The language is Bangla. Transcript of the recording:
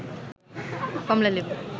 কমলা লেবু